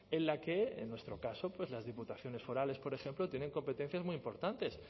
en la que en nuestro caso pues las diputaciones forales por ejemplo tienen competencias muy importantes